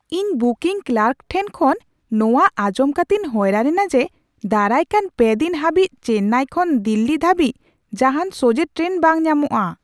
ᱤᱧ booking clerk ᱴᱷᱮᱱ ᱠᱷᱚᱱ ᱢᱚᱣᱟ ᱟᱸᱡᱚᱢ ᱠᱟᱛᱮᱧ ᱦᱚᱭᱨᱟᱱ ᱮᱱᱟ ᱡᱮ, ᱫᱟᱨᱟᱭᱠᱟᱱ ᱯᱮ ᱫᱤᱱ ᱦᱟᱹᱵᱤᱡ ᱪᱮᱱᱱᱟᱭ ᱠᱷᱚᱱ ᱫᱤᱞᱞᱤ ᱫᱷᱟᱹᱵᱤᱡ ᱡᱟᱦᱟᱱ ᱥᱚᱡᱷᱮ ᱴᱨᱮᱱ ᱵᱟᱝ ᱧᱟᱢᱚᱜᱼᱟ ᱾